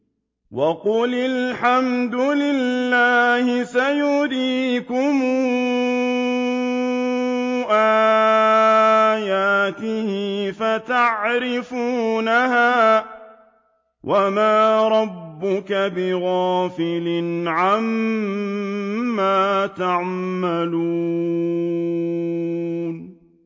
وَقُلِ الْحَمْدُ لِلَّهِ سَيُرِيكُمْ آيَاتِهِ فَتَعْرِفُونَهَا ۚ وَمَا رَبُّكَ بِغَافِلٍ عَمَّا تَعْمَلُونَ